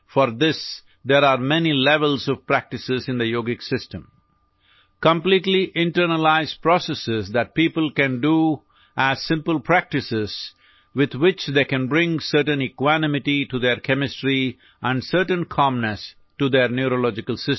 For this, there are many levels of practices in the Yogik system completely internalized processes that people can do as simple practices with which they can bring a certain equanimity to the chemistry and certain calmness to their neurological system